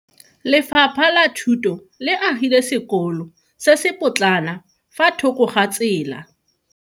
Lefapha la Thuto le agile sekolo se se potlana fa thoko ga tsela.